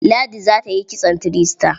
Ladi za ta yi kitson three star.